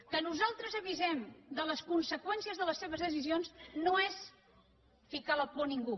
que nosaltres avisem de les conseqüències de les seves decisions no és ficar la por a ningú